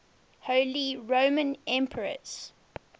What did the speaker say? holy roman emperors